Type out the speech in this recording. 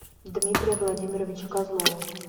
дмитрия владимировича козлова